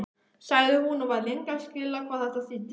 sagði hún og var lengi að skilja hvað þetta þýddi.